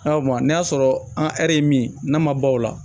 Awɔ n'a y'a sɔrɔ an ye min ye n'an ma baw la